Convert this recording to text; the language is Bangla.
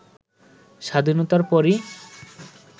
স্বাধীনতার পরই